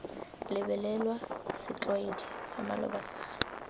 lebelelwa setlwaedi sa maloba sa